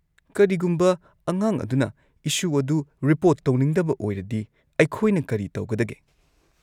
ꯀꯔꯤꯒꯨꯝꯕ ꯑꯉꯥꯡ ꯑꯗꯨꯅ ꯏꯁꯨ ꯑꯗꯨ ꯔꯤꯄꯣꯔꯠ ꯇꯧꯅꯤꯡꯗꯕ ꯑꯣꯏꯔꯗꯤ ꯑꯩꯈꯣꯢꯅ ꯀꯔꯤ ꯇꯧꯒꯗꯒꯦ?